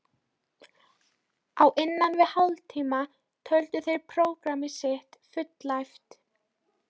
Á innan við hálftíma töldu þeir prógramm sitt fullæft.